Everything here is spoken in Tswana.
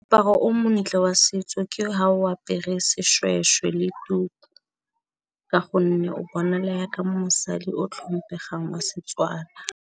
Moaparo o montle wa setso ke ha o apere seshweshwe le nku ka gonne o bona le yaka mosadi o tlhompegileng wa setswana.